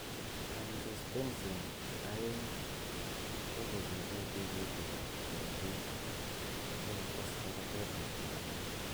Angiostensin aeng' �ko kochille tigitik ap karatik sogotes labateet ap katatiik.